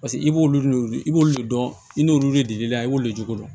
Paseke i b'olu de wele i b'olu de dɔn i n'olu de b'i la i b'olu jogo dɔn